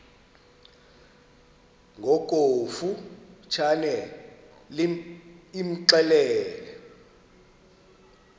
ngokofu tshane imxelele